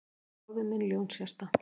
Bróðir minn Ljónshjarta